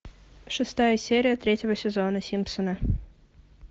шестая серия третьего сезона симпсоны